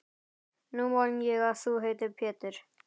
Nú man ég að þú heitir Pétur!